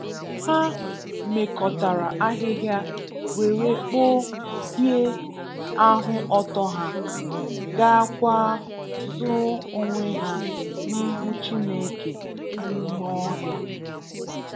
Há mekọtara ahịhịa were kpụ hie ahụ ọtọ ha, gáá kwá zoo onwe hà n'ihu Chineke n'ime ọhịa.